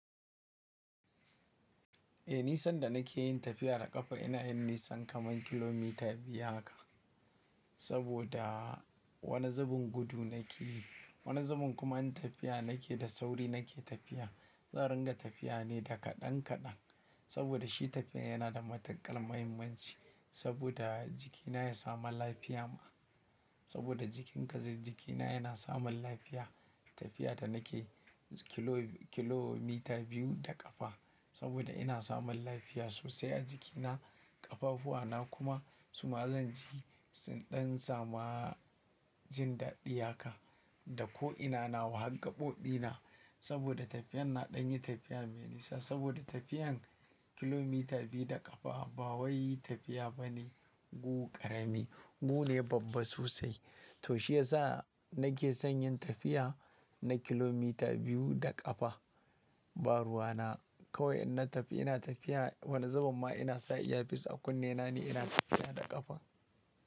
Eh, nisan da nake yin tafiya da ƙafa ina yin nisan kaman kilomita biyu haka. Saboda wani zubin gudu nake yi, wani zubin kuma in tafiya nake da sauri nake tafiya. Zan ringa tafiya ne da kaɗan kaɗan. Saboda shi tafiya yana da matuƙar muhimmanci saboda jikina ya samu lafiya ma. Saboda jikinka zai, jikina yana samun lafiya. Tafiya da nake kilomita biyu da ƙafa saboda ina samun lafiya sosai a jikina, ƙafafuwana kuma su ma zan ji sun ɗan samu jin daɗiya haka. Da ko'ina na wa hargaɓobina. Saboda tafiyan na ɗan yi tafiya me nisa saboda tafiyan kilomita biyu da ƙafa ba wai tafiya bane. Gu ƙarami, gu ne babba sosai. To shi yasa nake son yin tafiya na kilomita biyu da ƙafa. Ba ruwana kawai in na tafi ina tafiya wani zaman ma ina sa iya fis a kunne na ne ina tafiya da ƙafa.